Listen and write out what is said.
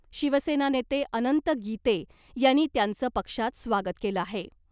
शिवसेना नेते अनंत गीते यांनी त्यांचं पक्षात स्वागत केलं आहे .